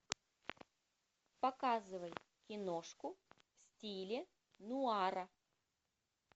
показывай киношку в стиле нуара